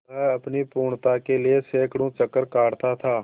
वह अपनी पूर्णता के लिए सैंकड़ों चक्कर काटता था